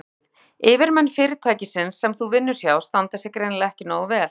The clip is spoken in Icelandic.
Sæl og blessuð, yfirmenn fyrirtækisins sem þú vinnur hjá standa sig greinilega ekki nógu vel.